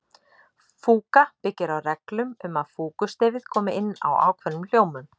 Fúga byggir á reglum um að fúgustefið komi inn á ákveðnum hljómum.